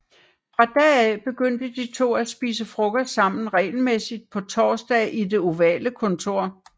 Fra da af begyndte de to at spise frokost sammen regelmæssigt på torsdage i Det ovale kontor